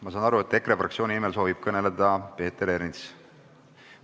Ma saan aru, et EKRE fraktsiooni nimel soovib kõneleda Peeter Ernits.